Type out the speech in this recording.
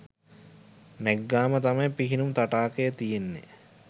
නැග්ගාම තමයි පිහිනුම් තටාකය තියෙන්නේ